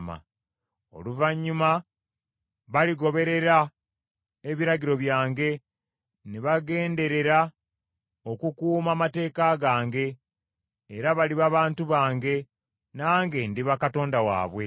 Oluvannyuma baligoberera ebiragiro byange, ne bagenderera okukuuma amateeka gange, era baliba bantu bange, nange ndiba Katonda waabwe.